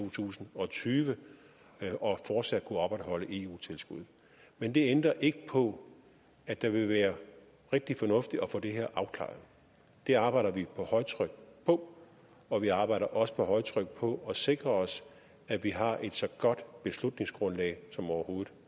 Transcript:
to tusind og tyve og fortsat kunne opretholde eu tilskuddet men det ændrer ikke på at det vil være rigtig fornuftigt at få det her afklaret det arbejder vi på højtryk på og vi arbejder også på højtryk på at sikre os at vi har et så godt beslutningsgrundlag som overhovedet